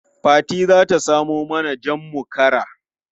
Fati za ta samo mana jam mu kara.